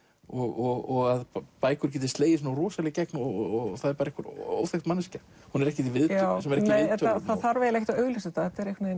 og að bækur geti slegið svona rosalega í gegn og það er einhver óþekkt manneskja hún er ekkert í viðtölum það þarf eiginlega að auglýsa þetta